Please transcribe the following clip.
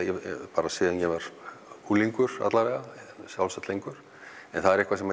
bara síðan ég var unglingur alla vega sjálfsagt lengur en það er eitthvað sem